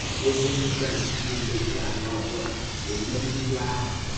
Ézí ǹdí Kraịst niile jí ànyà ọ́jọọ è lèrè íhè-ńkírí ahụ̀.